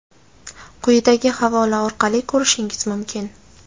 quyidagi havola orqali ko‘rishingiz mumkin.